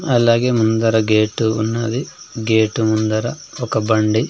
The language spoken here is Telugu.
అలాగే ముందర గేటు ఉన్నది గేట్ ముందర ఒక బండి.